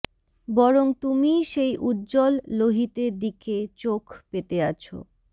বরং তুমিই সেই উজ্জ্বল লোহিতের দিকে চোখ পেতে আছো